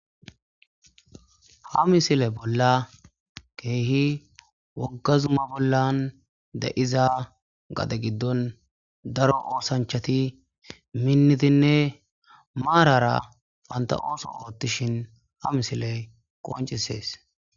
ha misile bolla keehi woggazuma bollan da7iza gade giddon daro oosanchati minnitinne maarara panta7ooso oottishin ha misiley qoncisees